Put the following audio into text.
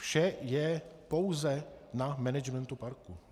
Vše je pouze na managementu parku.